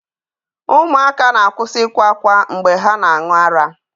Ụmụaka na-akwụsị ịkwa ákwá mgbe ha na-aṅụ ara.